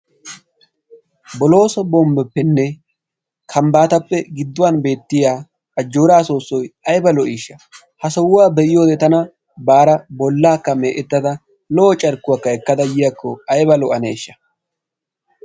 bolooso bombboponneTiransporttiyaanne kaamiya ha asati cadiidi de'iyo koyro tokketidaagee de'iyo koyro go'iya gididi aybba lo'anneeshsha.